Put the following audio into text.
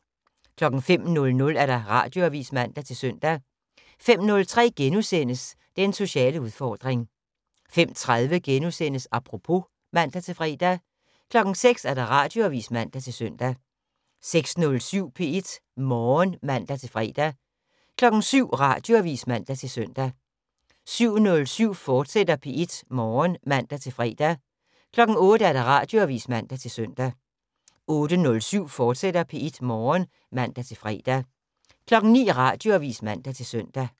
05:00: Radioavis (man-søn) 05:03: Den sociale udfordring * 05:30: Apropos *(man-fre) 06:00: Radioavis (man-søn) 06:07: P1 Morgen (man-fre) 07:00: Radioavis (man-søn) 07:07: P1 Morgen, fortsat (man-fre) 08:00: Radioavis (man-søn) 08:07: P1 Morgen, fortsat (man-fre) 09:00: Radioavis (man-søn)